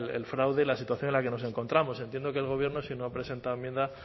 el fraude y la situación en la que nos encontramos entiendo que el gobierno si no ha presentado enmienda